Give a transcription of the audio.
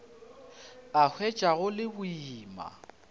a hwetša go le boima